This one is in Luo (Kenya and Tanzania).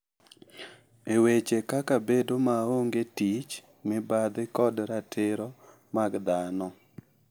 E weche kaka bedo maongee tich, mibadhi, kod ratiro mag dhano.